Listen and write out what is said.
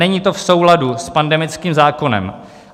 Není to v souladu s pandemickým zákonem.